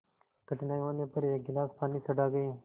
कठिनाई होने पर एक गिलास पानी चढ़ा गए